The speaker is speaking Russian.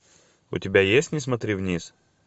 у тебя есть не смотри вниз